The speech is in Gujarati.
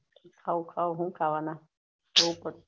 ખાવુ ખાવુ હું ખાવાના એવું પણ